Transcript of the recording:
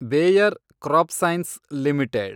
Bayer CropScience limited